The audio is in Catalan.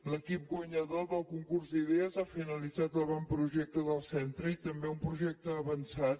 l’equip guanyador del concurs d’idees ha finalitzat l’avantprojecte del centre i també un projecte avançat